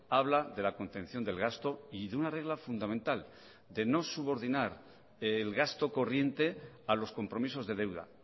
habla de la contención del gasto y de una regla fundamental de no subordinar el gasto corriente a los compromisos de deuda